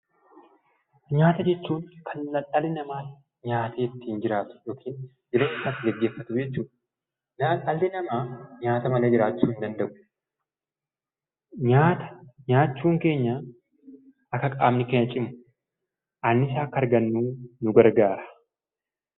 Nyaata jechuun kan dhalli namaa nyaatee ittiin jiraatu yookiin jireenyasaa itti geggeeffatu jechuu dha. Dhalli namaa nyaata malee jiraachuu hin danda'u. Nyaata nyaachuun keenya akka qaamni keenya cimu, anniisaa akka argannu, nu gargaara.